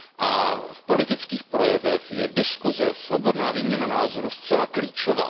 A v politických projevech je diskuze, svobodná výměna názorů zcela klíčová.